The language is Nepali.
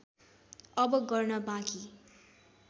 अब गर्न बाँकी